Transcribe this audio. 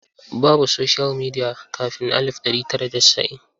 Babu soshiyal midiya kafin alif ɗari tara da casa'in.